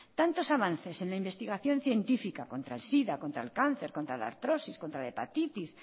tantos avances en la investigación científica contra el sida contra el cáncer contra la artrosis contra la hepatitis